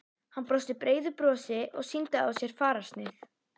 Hann brosti breiðu brosi og sýndi á sér fararsnið.